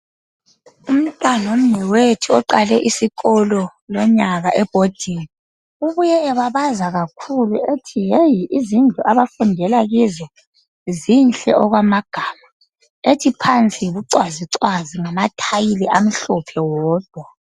Umntanomnewethu oqale isikolo lonyaka ebhodingi, ubuye ebabaza kakhulu ethi yeyi! Izindlu abafundela kizo, zinhle okwamagama. Ethi phansi yibucwazicwazi ngamathayili amhlophe wodwa.